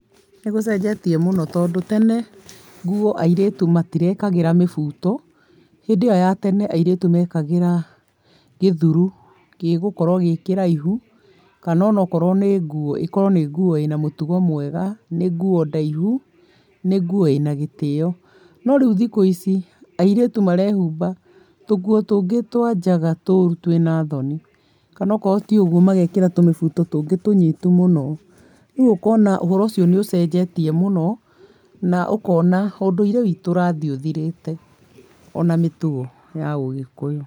Nĩgũcenjetie mũno tondũ tene nguo airĩtu matirekĩraga mĩbuto. Hĩndĩ ĩo ya tene airĩtu mekagĩra gĩthuru gĩgũkorwo gĩkĩraihu kana okorwo nĩ nguo ĩkorwo nĩ nguo ĩna mũtugo mwega, nĩ nguo ndaihu, nĩ nguo ĩna gĩtĩo. No rĩu thikũ ici, airĩtu marehumba tũnguo tũngĩ twa njaga tũru twĩna thoni, kana akorwo ti ũguo magekĩra tũmĩbuto tũngĩ tũnyitu mũno. Rĩu ũkona ũhoro ũcio nĩ ũcenjetie mũno na ũkona ũndũire wĩtũ ũrathiĩ ũthirĩte ona mĩtugo ya ũgĩkũyũ.